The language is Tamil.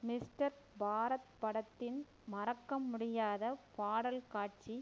மிஸ்டர் பாரத் படத்தின் மறக்க முடியாத பாடல் காட்சி